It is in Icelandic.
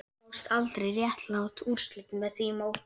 Það fást aldrei réttlát úrslit með því móti